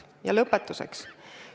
Ja lõpetuseks.